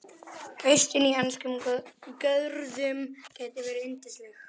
Haustin í enskum görðum geta verið yndisleg.